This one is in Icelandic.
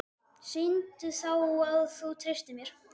Sýndu þá að þú treystir mér!